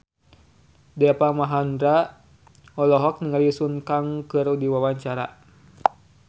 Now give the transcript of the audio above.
Deva Mahendra olohok ningali Sun Kang keur diwawancara